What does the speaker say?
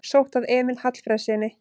Sótt að Emil Hallfreðssyni